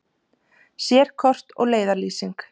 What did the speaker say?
Sérkort og leiðarlýsing.